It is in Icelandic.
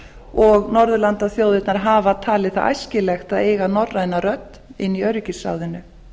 og norðurlandaþjóðirnar hafa talið það æskilegt að eiga norræna rödd inni í öryggisráðinu